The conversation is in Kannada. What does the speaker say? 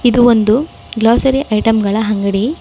ಇದು ಒಂದು ಗ್ಲಾಸರಿ ಐಟಂಗಳ ಅಂಗಡಿ.